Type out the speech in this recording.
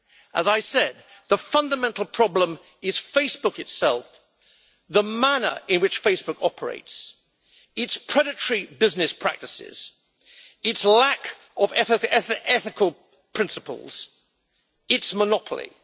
As I said, the fundamental problem is Facebook itself, the manner in which Facebook operates, its predatory business practices, its lack of ethical principles, and its monopoly.